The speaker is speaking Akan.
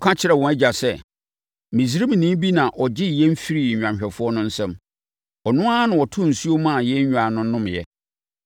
Wɔka kyerɛɛ wɔn agya sɛ, “Misraimni bi na ɔgyee yɛn firii nnwanhwɛfoɔ no nsam. Ɔno ara na ɔtoo nsuo maa yɛn nnwan no nomeeɛ.”